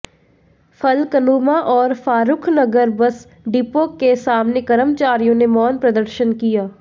फलकनुमा और Farukhnagar bus depot के सामने कर्मचारियों ने मौन प्रदर्शन किया